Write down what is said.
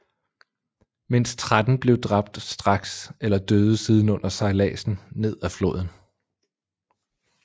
Mindst tretten blev dræbt straks eller døde siden under sejlladsen ned ad floden